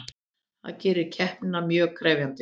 Það gerir keppnina mjög krefjandi